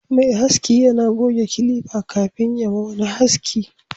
mai haski yana goge kilifa kafin ya ma wani haski